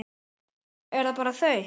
Er það bara þar?